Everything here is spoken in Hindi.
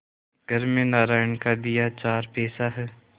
घर में नारायण का दिया चार पैसा है